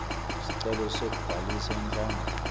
sicelo sekubhalisa inhlangano